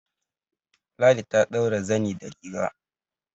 Ladi ta ɗaura zani da riga